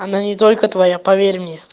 она не только твоя поверь мне